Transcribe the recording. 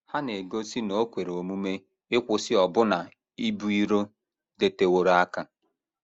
Ha na - egosi na o kwere omume ịkwụsị ọbụna ibu iro dịteworo aka.